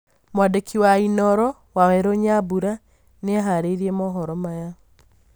mwandĩki wa inooro waweru nyambura nĩaharĩrĩirĩe mohoro Maya